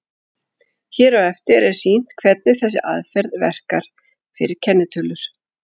Hér á eftir er sýnt hvernig þessi aðferð verkar fyrir kennitölur.